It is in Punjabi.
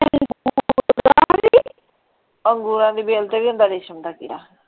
ਅੰਗੂਰਾਂ ਦੀ ਬੇਲ ਤੇ ਵੀ ਹੁੰਦਾ ਰੇਸ਼ਮ ਦਾ ਕੀੜਾ।